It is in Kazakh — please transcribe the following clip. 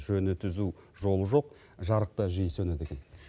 жөні түзу жол жоқ жарық та жиі сөнеді екен